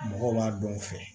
Mɔgɔw b'a dɔn u fɛ